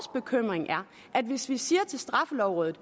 at hvis man siger til straffelovrådet